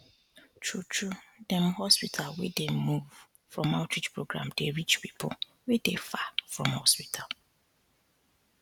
true true dem hospital wey dey move from outreach program dey reach people wey dey far from hospital